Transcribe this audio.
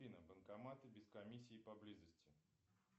афина банкоматы без комиссии поблизости